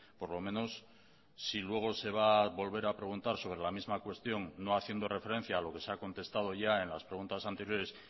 por lo menos si luego se va a volver a preguntar sobre la misma cuestión no haciendo referencia a lo que se ha contestado ya en las preguntas anteriores